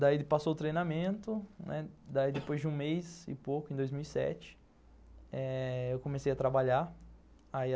Daí passou o treinamento, né, depois de um mês e pouco, em dois mil e sete, eh eu comecei a trabalhar.